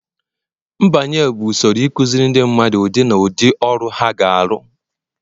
mbanye bụ usoro ịkụziri ndị mmadụ ụdị na ụdị ọrụ ha ga-arụ